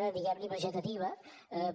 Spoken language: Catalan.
una diguemne vegetativa